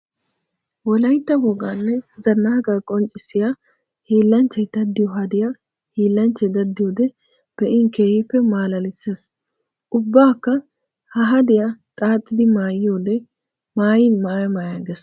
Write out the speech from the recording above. Wolaytta woganne zanaqaa qonccisiya hiillanchchay daddiyo haddiya hiillanchchay daddiyode be'in keehippe malaalisees! Ubbakka ha haddiya xaaxxiddi maayiyodde maayin maaya maaya geesi!